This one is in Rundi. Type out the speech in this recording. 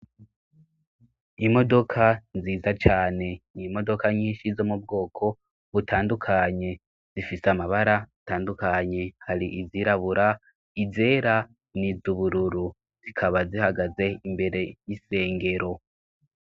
Imodoka nziza cane, n'imodoka nyinshi zo mu bwoko butandukanye, zifise amabara atandukanye, hari izirabura, izera n'izubururu, zikaba zihagaze imbere y'isengero.